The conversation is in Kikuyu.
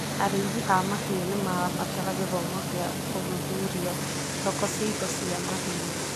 Arĩithi a mahiũ nĩ marabatara gĩthomo kĩa gũthuthuria thoko cia indo cia mahiũ.